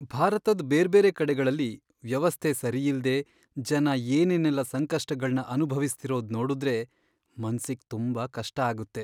ಭಾರತದ್ ಬೇರ್ಬೇರೆ ಕಡೆಗಳಲ್ಲಿ ವ್ಯವಸ್ಥೆ ಸರಿಯಿಲ್ದೆ ಜನ ಏನೇನೆಲ್ಲ ಸಂಕಷ್ಟಗಳ್ನ ಅನುಭವಿಸ್ತಿರೋದ್ ನೋಡುದ್ರೆ ಮನ್ಸಿಗ್ ತುಂಬಾ ಕಷ್ಟ ಆಗುತ್ತೆ.